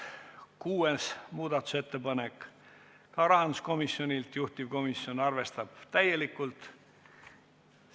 Kuues muudatusettepanek – samuti rahanduskomisjonilt ja juhtivkomisjon on arvestanud täielikult.